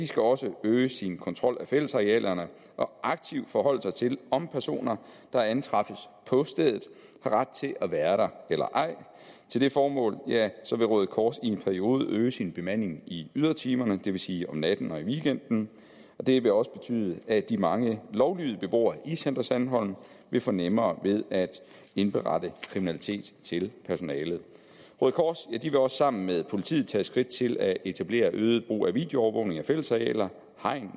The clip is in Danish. skal også øge sin kontrol af fællesarealerne og aktivt forholde sig til om personer der antræffes på stedet har ret til at være der eller ej til det formål vil røde kors i en periode øge sin bemanding i ydertimerne det vil sige om natten og i weekenden og det vil også betyde at de mange lovlydige beboere i center sandholm vil få nemmere ved at indberette kriminalitet til personalet røde kors vil også sammen med politiet tage skridt til at etablere øget brug af videoovervågning af fællesarealer hegn